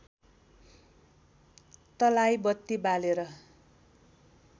तलाई बत्ति बालेर